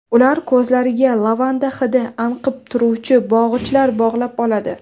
Ular ko‘zlariga lavanda hidi anqib turuvchi bog‘ichlar bog‘lab oladi.